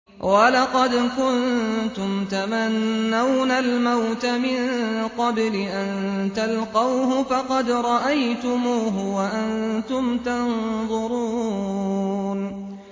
وَلَقَدْ كُنتُمْ تَمَنَّوْنَ الْمَوْتَ مِن قَبْلِ أَن تَلْقَوْهُ فَقَدْ رَأَيْتُمُوهُ وَأَنتُمْ تَنظُرُونَ